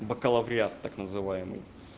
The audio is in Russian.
бакалавриат так называемый